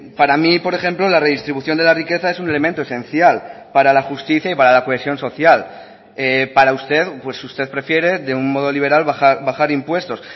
para mí por ejemplo la redistribución de la riqueza es un elemento esencial para la justicia y para la cohesión social para usted pues usted prefiere de un modo liberal bajar impuestos